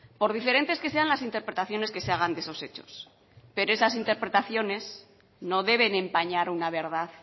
por diferentes que sean las interpretaciones que se hagan de esos hechos pero esas interpretaciones no deben empañar una verdad